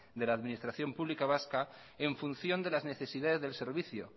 de la administración pública vasca en función de las necesidades del servicio